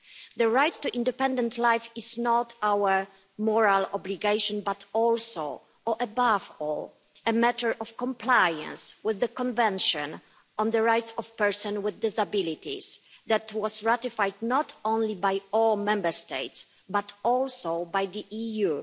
The right to independent life is not only our moral obligation, but also above all a matter of compliance with the Convention on the Rights of Persons with Disabilities that was ratified not only by all Member States, but also by the EU.